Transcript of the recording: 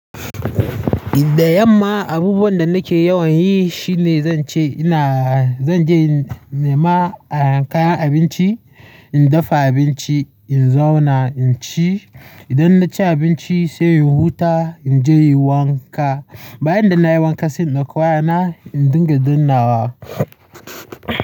Da yamma abubuwan da nake yawan yi shine zan ce ina-- zan je nema a kayan abinci, in dafa abinci, in zauna, in ci. Idan na ci abinci sai in huta. In je yi wanka. Bayan da nayi wanka sai in ɗauko wayana, in dinga dannawa.